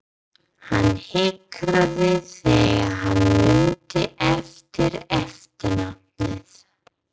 Hann hikaði þegar hann mundi ekki eftirnafnið.